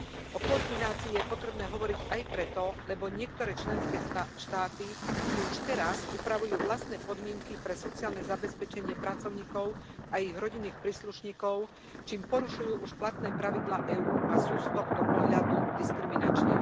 O koordinácii je potrebné hovoriť aj preto, lebo niektoré členské štáty si už teraz upravujú vlastné podmienky pre sociálne zabezpečenie pracovníkov a ich rodinných príslušníkov, čím porušujú už platné pravidlá EÚ a sú z tohto pohľadu diskriminačné.